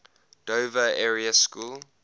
dover area school